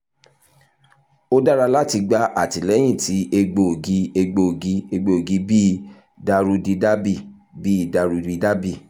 o dara lati gba atilẹyin ti egboogi egboogi egboogi bi daruhridrabbl bi daruhridrabbl